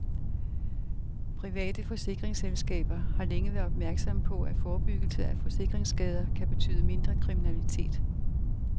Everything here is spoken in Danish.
Private forsikringsselskaber har længe været opmærksomme på, at forebyggelse af forsikringsskader kan betyde mindre kriminalitet.